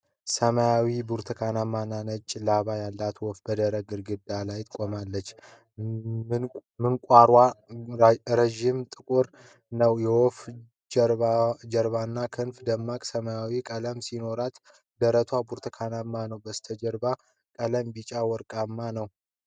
ሰማያዊ፣ ብርቱካናማ እና ነጭ ላባ ያላት ወፍ በደረቅ ግንድ ላይ ቆማለች። ምንቃሯ ረዥምና ጥቁር ነው። የወፏ ጀርባና ክንፎቿ ደማቅ ሰማያዊ ቀለም ሲኖራቸው፣ ደረቷ ብርቱካናማ ነው። የበስተጀርባው ቀለም ቢጫ ወርቃማ ነው።